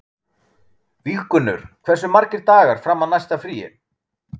Víggunnur, hversu margir dagar fram að næsta fríi?